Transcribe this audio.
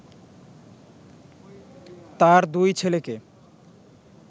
তার দুই ছেলেকে